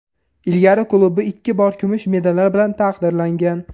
Ilgari klubi ikki bor kumush medallar bilan taqdirlangan.